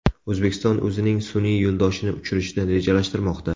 O‘zbekiston o‘zining sun’iy yo‘ldoshini uchirishni rejalashtirmoqda .